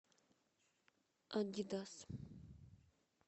адидас